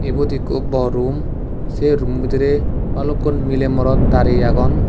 ubot ikko borum sey rummo bidirey balukkun miley morot darey agon.